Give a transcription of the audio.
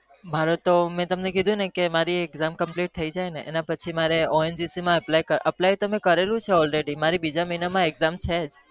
મારો તો મી તમને કીધું ને કે મારી exam પૂરી થઇ જાય મારી બીજા મહિના માં exam છે જ